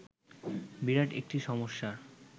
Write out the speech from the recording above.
বিরাট একটি সমস্যার